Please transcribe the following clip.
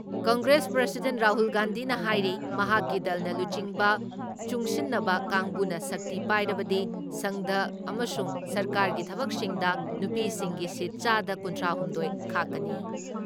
Congress president Rahul ꯒꯥꯟꯙꯤꯅ ꯍꯥꯏꯔꯤ ꯃꯍꯥꯛꯀꯤ ꯗꯜꯅ ꯂꯨꯆꯤꯡꯕ ꯆꯨꯡꯁꯤꯟꯅꯕ ꯀꯥꯡꯕꯨꯅ ꯁꯛꯇꯤ ꯄꯥꯏꯔꯕꯗꯤ ꯁꯪꯁꯗ ꯑꯃꯁꯨꯡ ꯁꯔꯀꯥꯔꯒꯤ ꯊꯕꯛꯁꯤꯡꯗ ꯅꯨꯄꯤꯁꯤꯡꯒꯤ ꯁꯤꯠ ꯆꯥꯗ ꯀꯨꯟꯊ꯭ꯔꯥ ꯍꯨꯝꯗꯣꯏ ꯈꯥꯛꯀꯅꯤ ꯫